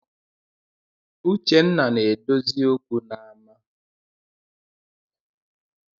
Uchenna na-edozi okwu n’ama